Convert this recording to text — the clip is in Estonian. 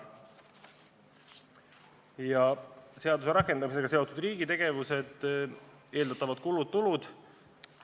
Veidi ka seaduse rakendamisega seotud riigi tegevustest ja eeldatavatest tuludest-kuludest.